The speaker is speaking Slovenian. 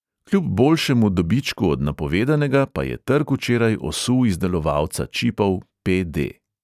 Kljub boljšemu dobičku od napovedanega pa je trg včeraj osul izdelovalca čipov pe|de.